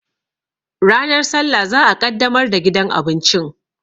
Ranar sallah za'a ƙaddamar da gidan abincin